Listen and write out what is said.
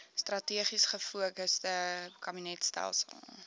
strategies gefokusde kabinetstelsel